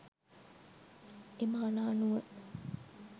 එම අණ අනුව